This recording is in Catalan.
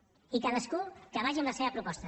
i cadascú que vagi amb la seva proposta